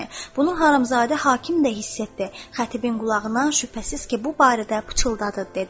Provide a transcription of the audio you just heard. Bunu Harımzadə hakim də hiss etdi, xətibin qulağına şübhəsiz ki, bu barədə pıçıldadı, dedi.